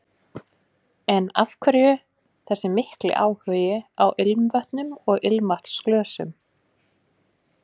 En af hverju þessi mikli áhugi á ilmvötnum og ilmvatnsglösum?